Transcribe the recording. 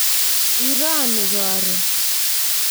Iro ni koro